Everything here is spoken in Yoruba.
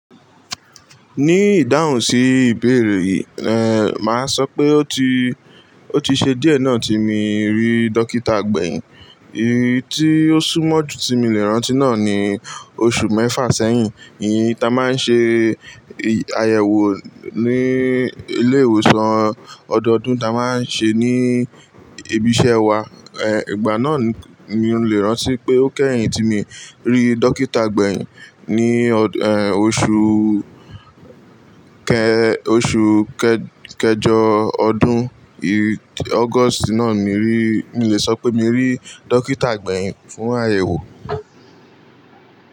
Ní ìdáhùn sí ìbéèrè rẹ, máa sọ pé ó ti, ó ti ṣe díẹ̀ náà tí mo rí dókítà agbẹ̀yìn. Eyi tí ó súnmọ́ ju tí mo le rántí náà ni oṣù mẹ́fà sẹ́yìn. E yi ta máa ń ṣe àyẹ̀wò ní ilé ìwòsàn ọdọọdún ta máa ń ṣe ní ibi iṣẹ́ wa. Igba náà ni mo lè rántí pé ó kẹ́yìn tí mo rí dókítà agbẹ̀yìn. Ni oṣù kẹ, oṣù kẹjọ ọdún August náà mo rí, mo lè sọ pé mo rí dókítà agbẹ̀yìn fún àyẹ̀wò.